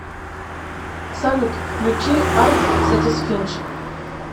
салют включи арт сатисфиндж